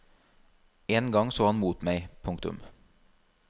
En gang så han mot meg. punktum